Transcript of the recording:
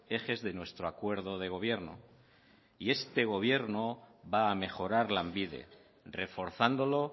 ejes de nuestro acuerdo de gobierno y este gobierno va a mejorar lanbide reforzándolo